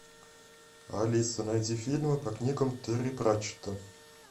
алиса найди фильмы по книгам терри пратчетта